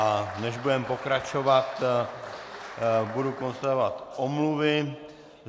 A než budeme pokračovat, budu konstatovat omluvy.